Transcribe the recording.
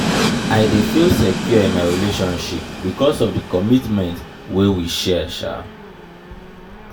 i dey feel secure in my relationship because of di commitment wey we share.